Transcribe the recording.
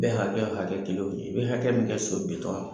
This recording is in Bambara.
Bɛɛ hakɛya ka kɛ kilow ye, i bɛ hakɛ min kɛ so bitɔn